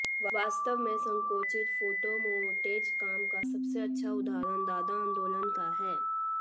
वास्तव में संकुचित फोटोमोंटेज काम का सबसे अच्छा उदाहरण दादा आंदोलन का है